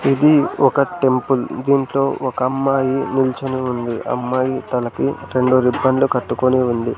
ఇది ఒక టెంపుల్ . దీంట్లో ఒక అమ్మాయి నిల్చొని ఉంది. అమ్మాయి తలకి రెండు రిబ్బన్ లు కట్టుకొని ఉంది.